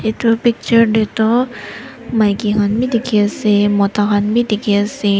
edu picture tae toh maki khan bi dikhiase mota khan bi dikhiase.